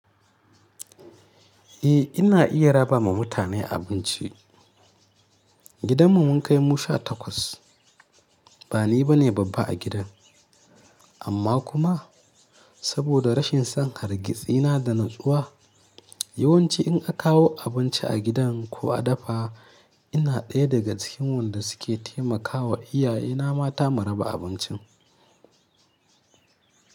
Eh ina iya raba ma mutane abinci. Gidanmu mun kai mu sha takwas. Ba ni bane babba a gidan, amma kuma saboda rashin san hargitsi na da natsuwa. Yawanci in a kawo abinci a gidan ko a dafa, ina ɗaya daga cikin wanda suke taimakawa iyaye na mata mu raba abincin.